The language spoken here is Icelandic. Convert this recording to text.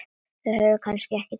Þú hefur kannski ekki tíma?